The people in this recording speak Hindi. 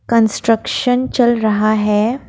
कंस्ट्रक्शन चल रहा है।